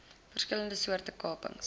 verskillende soorte kapings